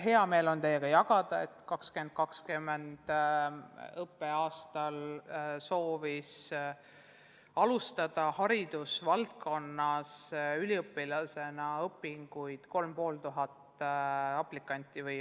Hea meel on teiega jagada teadmist, et 2020. õppeaastal soovis haridusvaldkonnas üliõpilasena õpinguid alustada kolm ja pool tuhat inimest.